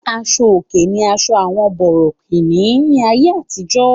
Aṣo-òkè ní àṣọ àwọn bòrọ̀kìní ní àyé àtìjọ́.